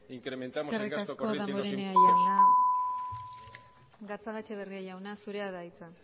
incrementamos el gasto corriente y los eskerrik asko damborenea jauna gatzagaetxebarria jauna zurea da hitza